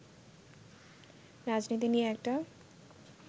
রাজনীতি নিয়ে একটা